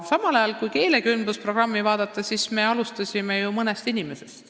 Samas, kui vaadata keelekümblusprogrammi, siis me alustasime ju ka mõne inimesega.